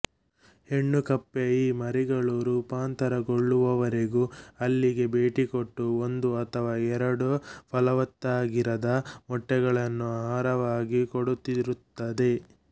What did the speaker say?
ಹೆಣ್ಣು ಕಪ್ಪೆ ಈ ಮರಿಗಳು ರೂಪಾಂತರ ಗೊಳ್ಳುವವರೆಗೂ ಅಲ್ಲಿಗೆ ಬೇಟಿಕೊಟ್ಟು ಒಂದು ಅಥವಾ ಎರಡು ಪಲವತ್ತಾಗಿರದ ಮೊಟ್ಟೆಗಳನ್ನು ಆಹಾರವಾಗಿ ಕೊಡುತ್ತಿರುತ್ತದೆ